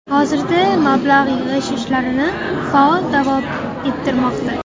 Hozirda mablag‘ yig‘ish ishlarini faol davom ettirmoqda.